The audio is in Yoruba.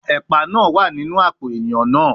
Epa naa wa ninu apo eiyan naa